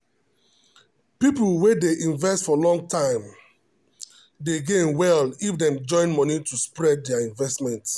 people wey dey invest for long time dey gain well if dem join money to spread their investment.